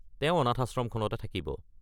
তেওঁ অনাথাশ্রমখনতে থাকিব।